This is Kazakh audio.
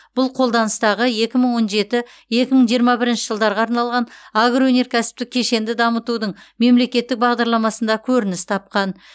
бұл қолданыстағы екі мың он жеті екі мың жиырма бірінші жылдарға арналған агроөнеркәсіптік кешенді дамытудың мемлекеттік бағдарламасында көрініс тапқан